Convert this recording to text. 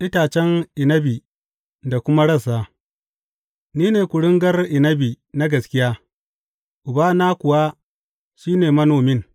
Itacen inabi da kuma rassa Ni ne kuringar inabi na gaskiya, Ubana kuwa shi ne manomin.